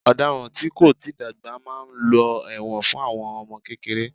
Ọ̀daràn tí kò tíì dàgbà máa lọ ẹ̀wọ̀n fún àwọn ọmọ kékeré